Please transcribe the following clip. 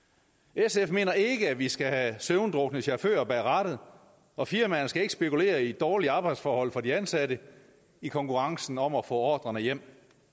sf mener ikke at vi skal have søvndrukne chauffører bag rattet og firmaerne skal ikke spekulere i dårlige arbejdsforhold for de ansatte i konkurrencen om at få ordrerne hjem